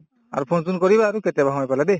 আৰু phone চোন কৰিবা আৰু কেতিয়াবা সময় পালে দে